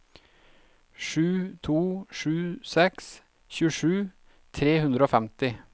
sju to sju seks tjuesju tre hundre og femti